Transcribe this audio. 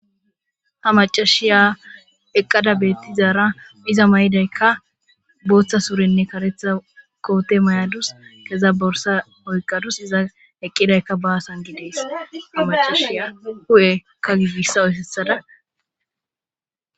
Ha macashiya eqqada beettizaara iza may7idaykka booththa surenne karetha koote may7adus keza borsa oyqadus iza eqqidaykka baasan gidees ha macashiya hu7ekka gigissa oysessada.